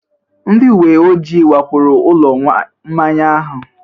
Ndị uwe ojii wakporo ụlọ mmanya ahụ?